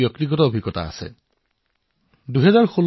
এনে এটা ব্যক্তিগত অভিজ্ঞতা মোৰো হৈছে গুজৰাটৰ